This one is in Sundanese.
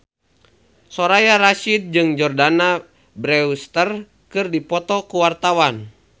Soraya Rasyid jeung Jordana Brewster keur dipoto ku wartawan